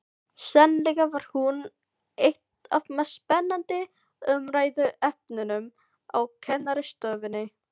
Sennilega var hún eitt af mest spennandi umræðuefnunum á kennarastofunni.